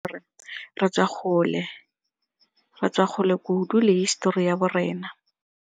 Re tswa gole kudu le hisetori ya bo rena.